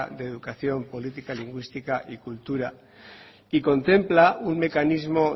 de educación política lingüística y cultura contempla un mecanismo